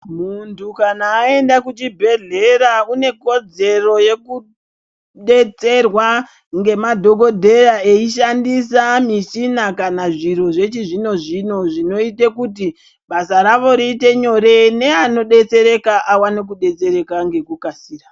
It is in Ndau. Muntu kana aenda kuchibhedhlera unekodzero yekudetserwa ngemadhogodheya eishandisa michina kana zviro zvechizvino-zvino zvinoite kuti basa ravo riite nyore neanodetsereka awane kudetsereka ngekukasira.